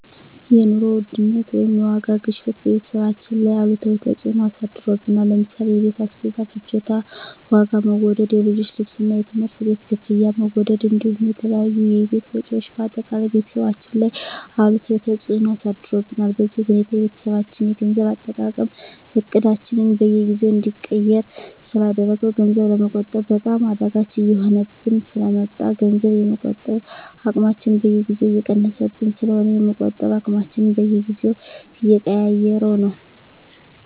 የኑሮ ውድነት ወይም የዋጋ ግሽበት በቤተሰባችን ላይ አሉታዊ ተፅዕኖ አሳድሮብናል ለምሳሌ የቤት አስቤዛ ፍጆታ ዋጋ መወደድ፣ የልጆች ልብስና የትምህርት ቤት ክፍያ መወደድ እንዲሁም የተለያዩ የቤት ወጪዎች በአጠቃላይ ቤተሰባችን ላይ አሉታዊ ተፅዕኖ አሳድሮብናል። በዚህ ሁኔታ የቤተሰባችን የገንዘብ አጠቃቀም እቅዳችንን በየጊዜው እንዲቀየር ስላደረገው ገንዘብ ለመቆጠብ በጣም አዳጋች እየሆነብን ስለ መጣ ገንዘብ የመቆጠብ አቅማችን በየጊዜው እየቀነሰብን ስለሆነ የመቆጠብ አቅማችንን በየጊዜው እየቀያየረው ነው።